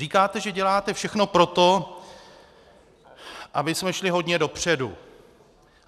Říkáte, že děláte všechno pro to, abychom šli hodně dopředu.